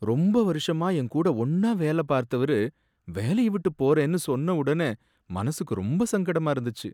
ரொம்ப வருஷமா என் கூட ஒன்னா வேல பார்த்தவரு வேலைய விட்டு போறேன்னு சொன்ன உடனே மனசுக்கு ரொம்ப சங்கடமா இருந்துச்சு.